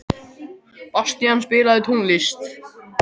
Bastían, spilaðu tónlist.